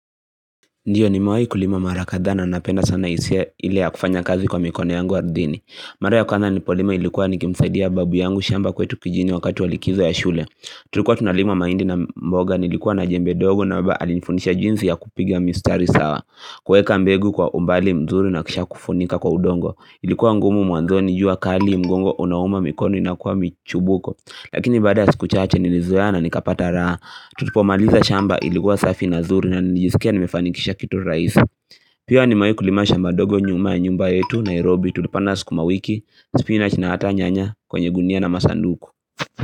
Ndiyo nimewahi kulima mara kadhaa na napenda sana hisia ile ya kufanya kazi kwa mikono yangu wa ardhini. Mara ya kwanza nilipolima ilikuwa nikimsaidia babu yangu shamba kwetu kijini wakati wa likizo ya shule. Tulikuwa tunalima mahindi na mboga nilikuwa na jembe dogo na waba alifundisha jinsi ya kupigia mistari sawa kuweka mbegu kwa umbali mzuri na kisha kufunika kwa udongo Ilikuwa ngumu mwanzoni jua kali mgongo unauma mikono ina kuwa michubuko Lakini baada ya siku chache nilizoea na nikapata raha. Tulipomaliza shamba ilikuwa safi na nzuri na nilijisikia nimefanikisha kitu rahisi Pia nimewahi kulima shamba ndogo nyuma ya nyumba yetu Nairobi tulipanda siku wiki, spinach na hata nyanya kwenye gunia na masanduku.